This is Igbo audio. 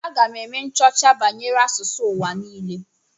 Aga m eme nchọcha banyere asụsụ ụwa niile.